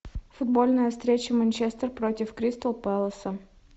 футбольная встреча манчестер против кристал пэласа